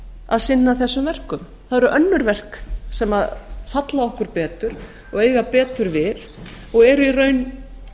að sinna þessum verkum það eru önnur verk sem falla okkur betur og eiga betur við og eru í raun